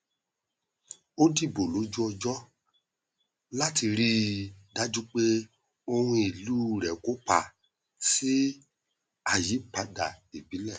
ó dìbò lójú ọjọ láti rí i dájú pé ohùn ìlú rẹ kópa sí àyípadà ìbílẹ